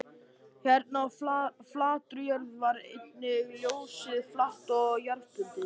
Hérna á flatri jörðinni var einnig ljósið flatt og jarðbundið.